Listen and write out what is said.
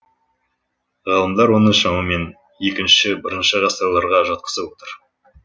ғалымдар оны шамамен екінші бірінші ғасырларға жатқызып отыр